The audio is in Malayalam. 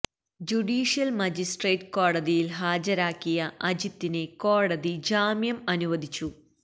ജുഡിഷ്യല് മജിസട്രേറ്റ് കോടതിയില് ഹാജരാക്കിയ അജിത്തിന് കോടതി ജാമ്യം അനുവദിച്ചു